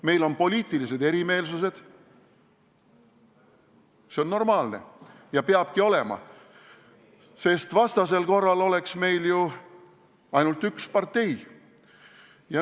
Meil on poliitilised erimeelsused – see on normaalne ja nii peabki olema, sest vastasel korral oleks meil ju ainult üks partei.